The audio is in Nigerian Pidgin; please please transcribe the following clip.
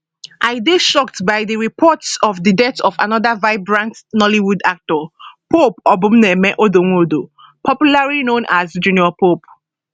i dey shocked by di reports of di death of anoda vibrant nollywood actor pope obumneme odonwodo popularly known as junior pope